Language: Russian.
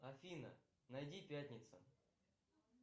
афина найди пятница